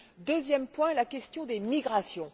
Deuxième point, la question des migrations.